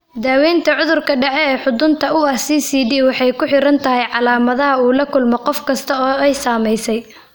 Daawaynta cudurka dhexe ee xudunta u ah (CCD) waxay ku xidhan tahay calaamadaha uu la kulmo qof kasta oo ay saamaysay.